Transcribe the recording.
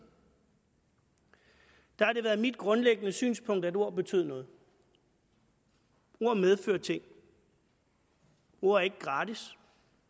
har det været mit grundlæggende synspunkt at ord betød noget ord medfører ting ord er ikke gratis